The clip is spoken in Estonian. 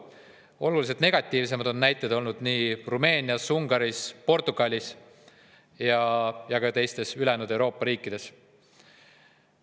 Oluliselt negatiivsemaid näiteid on olnud Rumeenias, Ungaris, Portugalis ja ka teistes Euroopa riikides.